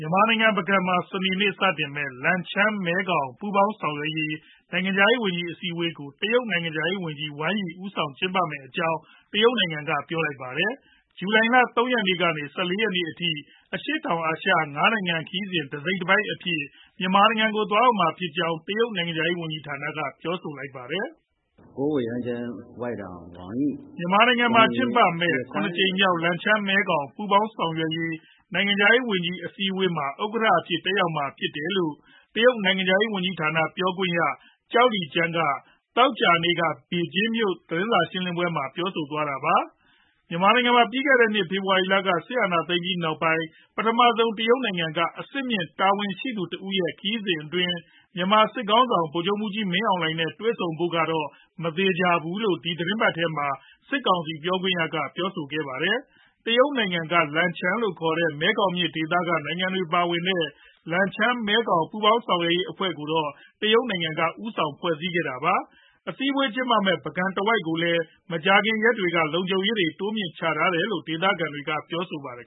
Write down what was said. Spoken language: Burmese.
ြန်မာနိုင်ငံ ပုဂံမှာ စနေနေ့စတင်မယ့် လန်ချန်း-မဲခေါင် ပူးပေါင်းဆောင်ရွက်ရေး နိုင်ငံခြားရေးဝန်ကြီး အစည်းအဝေးကို တရုတ်နိုင်ငံခြားရေးဝန်ကြီး Wang Yi ဦးဆောင်ကျင်းပမယ့်အကြောင်း တရုတ်နိုင်ငံက ပြောလိုက်ပါတယ်။ ဇူလိုင်လ ၃ ရက်နေ့ကနေ ၁၄ ရက်နေ့အထိ အရှေ့တောင်အာရှ ၅ နိုင်ငံ ခရီးစဉ်တစိတ်တပိုင်းအဖြစ် မြန်မာနိုင်ငံကို သွားရောက်မှာဖြစ်ကြောင်း တရုတ်နိုင်ငံခြားရေးဝန်ကြီးဌာနက ပြောဆိုလိုက်တာပါ။ “မြန်မာနိုင်ငံမှာ ကျင်းပမယ့် ၇ ကြိမ်မြောက် လန်ချန်း-မဲခေါင် ပူးပေါင်းဆောင်ရွက်ရေး နိုင်ငံခြားရေးဝန်ကြီး အစည်းအဝေးမှာ Wang Yi က ဥက္ကဋ္ဌအဖြစ် တက်ရောက်မှာ ဖြစ်ပါတယ်။” လို့ တရုတ်နိုင်ငံခြားရေးဝန်ကြီးဌာန ပြောခွင့်ရ Zhao Lijian က သောကြာနေ့ ဘေဂျင်းမြို့တော်က သတင်းစာရှင်းလင်းပွဲမှာ ပြောဆိုသွားတာပါ။ မြန်မာနိုင်ငံမှာ ပြီးခဲ့တဲ့နှစ် ဖေဖော်ဝါရီလက စစ်အာဏာသိမ်းပြီးနောက်ပိုင်း ပထမဆုံး တရုတ်နိုင်ငံက အဆင့်မြင့်တာဝန်ရှိသူ တဦးရဲ့ ခရီးစဉ်အတွင်း မြန်မာစစ်ခေါင်းဆောင် ဗိုလ်ချုပ်မှူးကြီး မင်းအောင်လှိုင်နဲ့ တွေ့ဆုံဖို့ မသေချာဘူးလို့လည်း ဒီသီတင်းပတ်ထဲမှာပဲ စစ်ကောင်စီပြောခွင့်ရက ပြောဆိုထားပါတယ်။ တရုတ်နိုင်ငံက လန်ချန်းလို့ခေါ်တဲ့ မဲခေါင်မြစ် ဒေသက နိုင်ငံတွေ ပါဝင်တဲ့ လန်ချန်း-မဲခေါင် ပူးပေါင်းဆောင်ရွက်ရေး အဖွဲ့ကိုတော့ တရုတ်နိုင်ငံက ဦးဆောင်ဖွဲ့စည်းထားတာပါ။ အစည်းအဝေးပွဲ ကျင်းပမယ့် ပုဂံဒေသတဝိုက်ကိုတော့ မကြာသေးခင် ရက်တွေကပဲ လုံခြုံရေးတွေ တိုးမြှင့်ထားတယ်လို့လည်း ဒေသခံတွေက ပြောပါတယ်